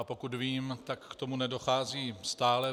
A pokud vím, tak k tomu nedochází stále.